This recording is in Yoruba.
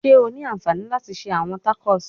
Ṣe o ni anfani lati ṣe awọn tacos?